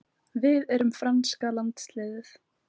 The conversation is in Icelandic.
Við erum franska landsliðið.